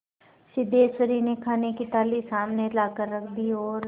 सिद्धेश्वरी ने खाने की थाली सामने लाकर रख दी और